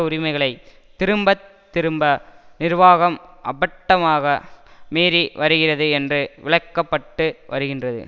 உரிமைகளை திரும்ப திரும்ப நிர்வாகம் அபட்டமாக மீறி வருகிறது என்று விளக்கப்பட்டு வருகின்றது